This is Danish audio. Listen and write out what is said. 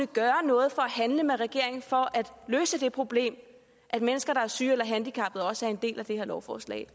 gøre noget for at handle med regeringen for at løse det problem at mennesker der er syge eller handicappede også er en del af det her lovforslag